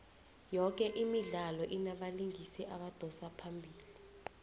yoke imidlalo inabalingisi abadosa phambili